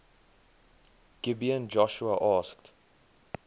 gibeon joshua asked